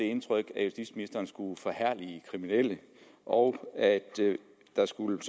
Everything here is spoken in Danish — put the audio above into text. indtryk at justitsministeren skulle forherlige kriminelle og at der skulle